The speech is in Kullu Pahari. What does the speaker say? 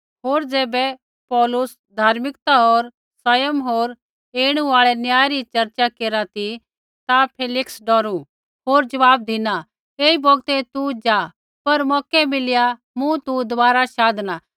होर ज़ैबै पौलुस धर्म सयम होर ऐणु आल़ै न्याय री चर्चा केरा ती ता फेलिक्स डौरू होर ज़वाब धिना ऐई बौगतै तू ज़ा पर मौकै मिलिया मूँ तू दबारा शाधणा